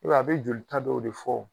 a bɛ joli ta dɔw de fɔ wo.